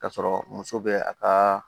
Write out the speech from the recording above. K'a sɔrɔ muso bɛ a ka